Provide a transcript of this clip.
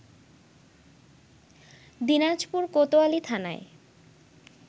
দিনাজপুর কোতোয়ালি থানায়